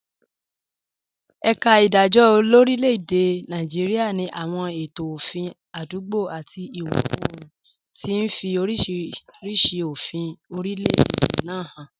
Ẹ̀ka ìdájọ́ lórílẹ̀-èdè Nàìjíríà ní àwọn ètò òfin àdúgbò àti ìwọ̀ oòrùn, tí ń fi oríṣiríṣi òfin orílẹ̀-èdè náà hàn.